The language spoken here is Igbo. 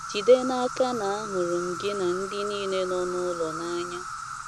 Jide n’aka na ahụrụ m gị na ndị nile nọ n’ụlọ n’anya.